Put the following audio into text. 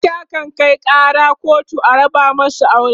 mata kan Kai Kara kotu a raba masu aure